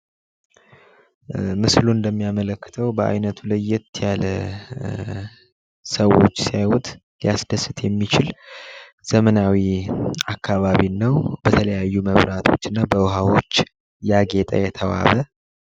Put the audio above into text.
ምስሉ ላይ የምንመለከተው በአይነቱ ለየት ያለ ሰዎች ሲያዩት ሊያስደስት የሚችል ዘመናዊ አካባቢ ነው ።በተለያዩ መብራቶች እና ውሀዎች ያጌጠ ነው።